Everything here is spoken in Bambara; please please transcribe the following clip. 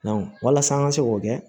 walasa an ka se k'o kɛ